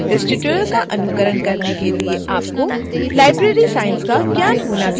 इस tutorial का अनुकरण करने के लिए आपको library science का ज्ञान भी होना चाहिए